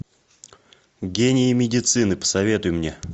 гении медицины посоветуй мне